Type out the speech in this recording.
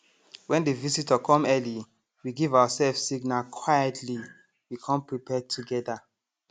when the visitor come early we give ourself signal quietly we come prepare together